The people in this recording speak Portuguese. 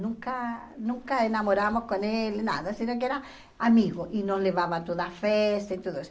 Nunca, nunca namoramos com ele, nada, senão que era amigo, e nos levava a todas as festas e tudo isso.